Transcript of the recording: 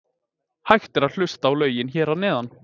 Hægt er að hlusta á lögin hér að neðan.